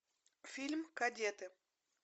фильм кадеты